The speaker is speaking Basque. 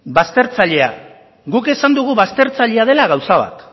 baztertzailea guk esan dugu baztertzailea dela gauza bat